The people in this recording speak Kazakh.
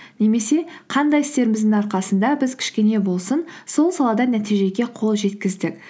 немесе қандай істеріміздің арқасында біз кішкене болсын сол салада нәтижеге қол жеткіздік